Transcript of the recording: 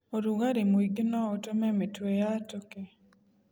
ũrugarĩ mũingĩ noũtũme mĩtwe yatũke.